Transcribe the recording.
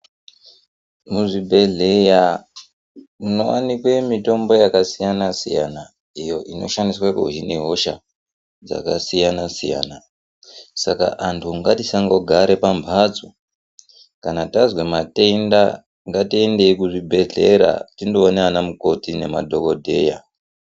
Muzvibhedheya munowanikwe mitombo yakasiyana-siyana iyo inoshandiswe kuhine hosha dzakasiyana-siyana .Saka antu ngatisangogara pambatso kana tazwe matenda ngatiendei kuzvibhedhlera tindoona ana mukoti nemadhokodheya.